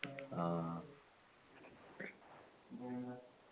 ആ